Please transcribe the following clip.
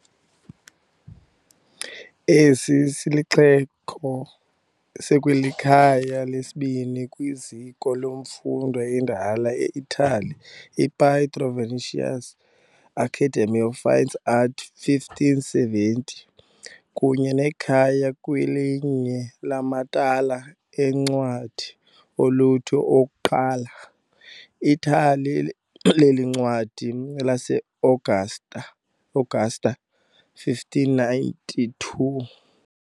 Esi sixeko sikwalikhaya lesibini kwiziko lemfundo endala eItali, iPietro Vannucci Academy of Fine Arts, 1570, kunye nekhaya kwelinye lamathala eencwadi oluntu okuqala, iThala leencwadi laseAugusta, 1592.